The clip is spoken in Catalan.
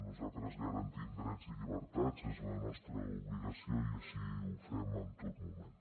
nosaltres garantim drets i llibertats és la nostra obligació i així ho fem en tot moment